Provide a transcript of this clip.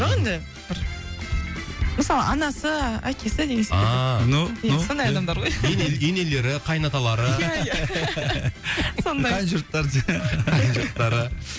жоқ енді бір мысалы анасы әкесі деген секілді ааа ну ну сондай адамдар ғой ене енелері қайын аталары иә иә сондай қайын жұрттары қайын жұрттары